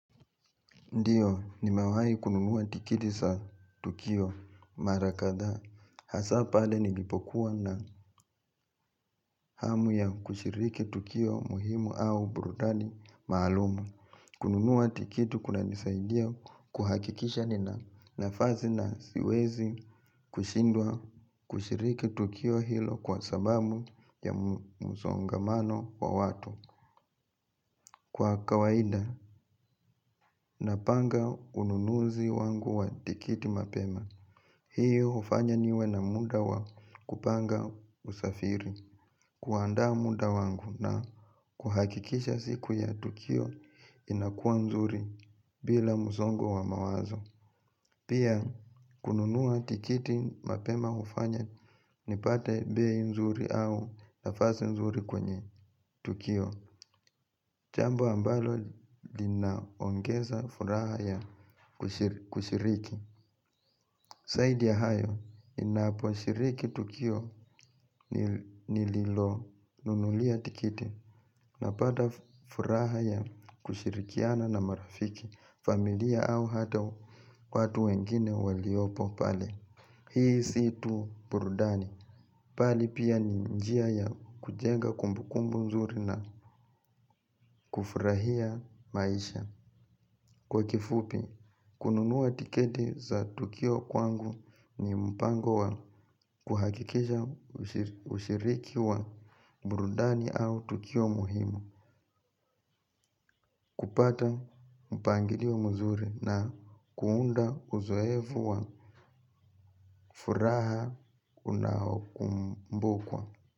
Ndiyo, nimewai kununua tikiti za tukio mara kadhaa. Hasa pale nilipokuwa na hamu ya kushiriki tukio muhimu au burudani maalumu. Kununua tikiti kunanisaidia kuhakikisha nina nafasi na siwezi kushindwa kushiriki tukio hilo kwa sababu ya msongamano wa watu. Kwa kawaida, napanga ununuzi wangu wa tikiti mapema. Hiyo hufanya niwe na muda wa kupanga usafiri. Kuanda muda wangu na kuhakikisha siku ya tukio inakua nzuri bila msongo wa mawazo. Pia kununua tikiti mapema hufanya nipate bei nzuri au nafasi nzuri kwenye tukio jambo ambalo linaongeza furaha ya kushiriki zaidi ya hayo ninaposhiriki tukio nililonunulia tikiti na pata furaha ya kushirikiana na marafiki familia au hata watu wengine waliopo pale. Hii si tu burudani. Bali pia ni njia ya kujenga kumbukumbu nzuri na kufurahia maisha. Kwa kifupi, kununua tikiti za tukio kwangu ni mpango wa kuhakikisha ushiriki wa burudani au tukio muhimu. Kupata mpangilio mzuri na kuunda uzoefu wa furaha unaokumbukwa.